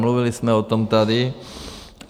Mluvili jsme o tom tady.